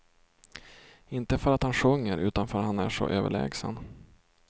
Inte för att han sjunger, utan för att han är så överlägsen.